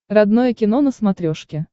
родное кино на смотрешке